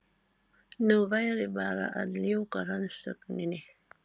Nú væri bara að ljúka rannsókninni.